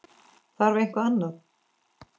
Þarf eitthvað annað?